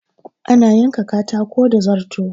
Ana yanka katako da zarto.